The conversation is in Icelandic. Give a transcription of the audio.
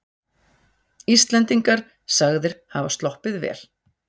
Íslendingar sagðir hafa sloppið vel